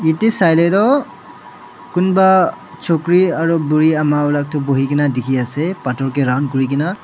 te sailae toh kunba chukri aro buri ama wala toh buhikae na dikhinaase phator kae round kurikaena.